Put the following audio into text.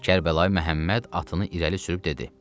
Kərbəlayı Məhəmməd atını irəli sürüb dedi: